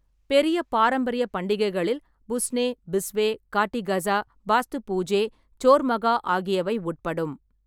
பெரிய பாரம்பரிய பண்டிகைகளில் புஸ்னே, பிஸ்வே, காட்டி கஸா, பாஸ்து பூஜே, சோர் மகா ஆகியவை உட்படும்.